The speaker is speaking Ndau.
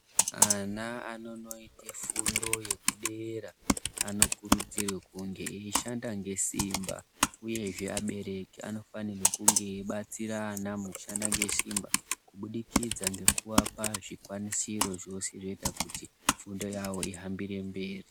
Ana anonoita fundo yekudera anokurudzirwe kunge eishande nesimba uyezve abereki anofanira kunge eibatsira ana mukushanda ngesimba kubudikidza ngekuapa zvikwanisiri zvese zvinoita kuti fundo yawo ihambire mberi.